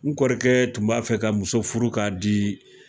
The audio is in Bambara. N kɔrɔkɛ tun b'a fɛ ka muso furu k k'a di